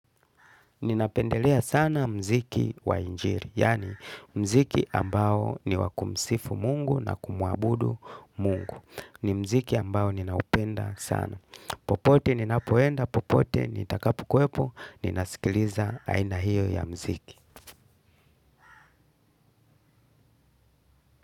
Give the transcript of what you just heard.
Ninapendelea sana mziki wa injili, yaani mziki ambao ni wa kumsifu mungu na kumuabudu mungu. Ni mziki ambao ninaupenda sana. Popote, ninapoenda popote, nitakapokuwepo, ninasikiliza aina hiyo ya mziki.